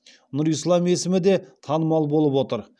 нұрислам есімі де танымал болып отыр